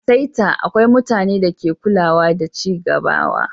A'saita, akwai mutane da ke kulawa da cigabawa.